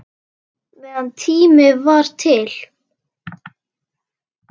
Meðan tími var til.